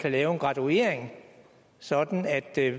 kan lave en graduering sådan at der